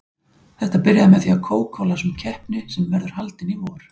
Þetta byrjaði með því að Kókó las um keppni sem verður haldin í vor.